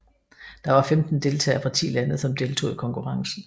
Der var femten deltagere fra ti lande som deltog i konkurrencen